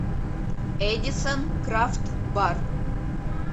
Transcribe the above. эдисон крафт бар